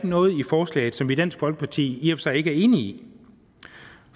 noget i forslaget som vi i dansk folkeparti i og sig ikke er enige i